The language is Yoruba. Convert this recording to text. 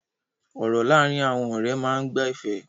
Ọ̀rọ̀ láàárín àwọn ọ̀rẹ́ máa ń gba ẹ̀fẹ̀.